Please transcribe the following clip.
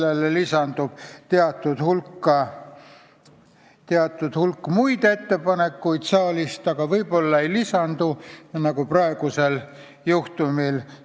Võib-olla lisandub sellele teatud hulk muid ettepanekuid saalist, aga võib-olla ei lisandu, nagu see on olnud praegusel juhtumil.